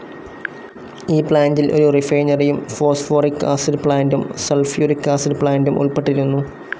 ഈ പ്ലാന്റിൽ ഒരു റിഫൈനറിയും ഫോസ്ഫോറിക്‌ ആസിഡ്‌ പ്ലാന്റും സൾഫ്യൂരിക് ആസിഡ്‌ പ്ലാന്റും ഉൾപ്പെട്ടിരുന്നു.